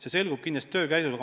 See selgub kindlasti töö käigus.